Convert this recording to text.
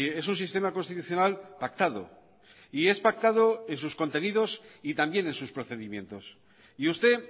es un sistema constitucional pactado y es pactado en sus contenidos y también en sus procedimientos y usted